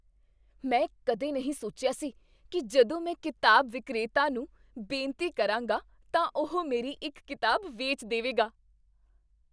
ਮੈਂ ਕਦੇ ਨਹੀਂ ਸੋਚਿਆ ਸੀ ਕੀ ਜਦੋਂ ਮੈਂ ਕਿਤਾਬ ਵਿਕਰੇਤਾ ਨੂੰ ਬੇਨਤੀ ਕਰਾਂਗਾ ਤਾਂ ਉਹ ਮੇਰੀ ਇੱਕ ਕਿਤਾਬ ਵੇਚ ਦੇਵੇਗਾ!